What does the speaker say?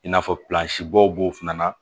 I n'a fɔ b'o fana na